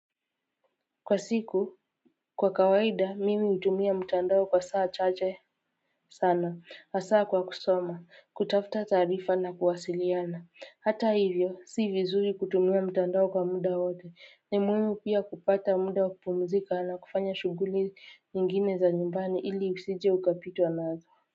Kwa siku kwa kawaida mimi hutumia mtandao kwa saa chache sana hasa kwa kusoma kutafuta taarifa na kuwasiliana hata hivyo si vizuri kutumia mtandao kwa muda wote ni muhimu pia kupata muda wa kupumzika na kufanya shughuli nyingine za nyumbani ili usije ukapitwa nazo.